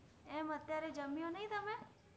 એમ અત્ય઼આરે જમ્ય઼ઉ નૈ તમે